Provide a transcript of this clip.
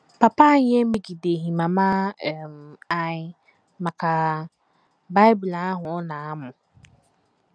Papa anyị emegideghị mama um anyị maka Bible ahụ ọ na - amụ.